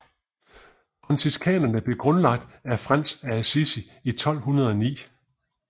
Franciskanerne blev grundlagt af Frans af Assisi i 1209